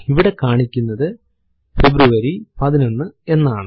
ഇവിടെ കാണിക്കുന്നത് ഫെബ്രുവരി 11 എന്നാണ്